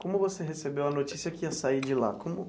Como você recebeu a notícia que ia sair de lá como?